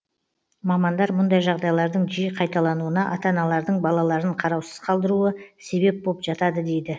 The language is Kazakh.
мамандар мұндай жағдайлардың жиі қайталануына ата аналардың балаларын қараусыз қалдыруы себеп боп жатады дейді